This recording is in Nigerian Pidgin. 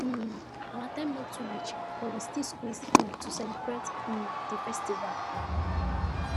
um our time no too reach but we still squeeze in to celebrate um di festival